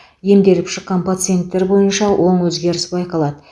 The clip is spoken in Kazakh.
емделіп шыққан пациенттер бойынша оң өзгеріс байқалады